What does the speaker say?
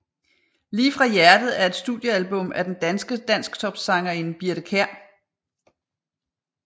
Lige fra hjertet er et studiealbum af den danske dansktopsangerinde Birthe Kjær